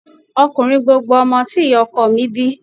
Ọkùnrin gbogbo ọmọ tí ìyá ọkọ mi bí